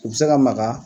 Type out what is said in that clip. U bɛ se ka maga